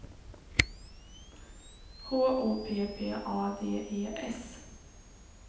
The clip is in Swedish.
H O P P A D E S